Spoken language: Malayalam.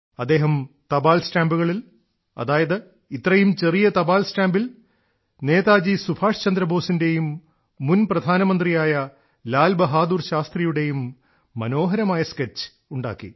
അദ്ദേഹം തപാൽ സ്റ്റാമ്പുകളിൽ അതായത് ഇത്രയും ചെറിയ തപാൽ സ്റ്റാമ്പിൽ നേതാജി സുഭാഷ്ചന്ദ്രബോസിന്റെയും മുൻ പ്രധാനമന്ത്രിയായ ലാൽ ബഹാദൂർ ശാസ്ത്രിയുടെയും മനോഹരമായ സ്കെച്ച് ഉണ്ടാക്കി